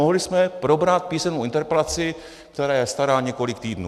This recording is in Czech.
Mohli jsme probrat písemnou interpelaci, která je stará několik týdnů.